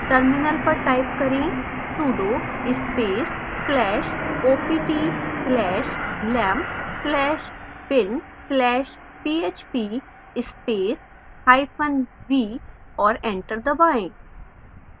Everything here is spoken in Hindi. terminal पर type करें sudo space slash opt slash lampp slash bin slash php space hyphen v और एंटर दबाएं